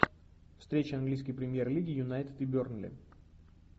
встреча английской премьер лиги юнайтед и бернли